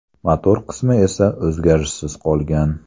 Motor qismi esa o‘zgarishsiz qolgan.